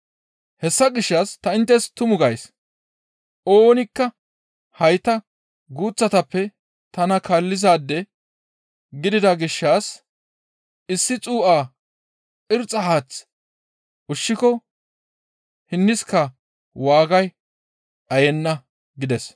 Hessa gishshas ta inttes tumu gays; oonikka hayta guuththatappe tana kaallizaade gidida gishshas issi xuu7a irxxa haath ushshiko hinniska waagay dhayenna» gides.